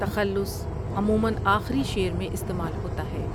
تخلص عموماٌ آخری شعر میں استعمال ہوتا ہے